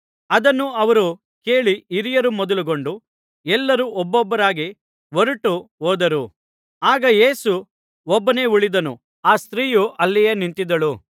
ಅದನ್ನು ಅವರು ಕೇಳಿ ಹಿರಿಯರು ಮೊದಲುಗೊಂಡು ಎಲ್ಲರೂ ಒಬ್ಬೊಬ್ಬರಾಗಿ ಹೊರಟು ಹೋದರು ಆಗ ಯೇಸು ಒಬ್ಬನೇ ಉಳಿದನು ಆ ಸ್ತ್ರೀಯು ಅಲ್ಲಿಯೇ ನಿಂತಿದ್ದಳು